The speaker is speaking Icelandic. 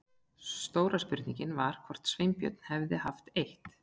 Stóra spurningin var hvort Sveinbjörn hefði haft eitt